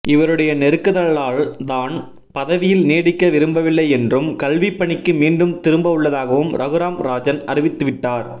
இவருடைய நெருக்குதலால் தான் பதவியில் நீடிக்க விரும்பவில்லை என்றும் கல்விப்பணிக்கு மீண்டும் திரும்பவுள்ளதாகவும் ரகுராம் ராஜன் அறிவித்துவிட்டார்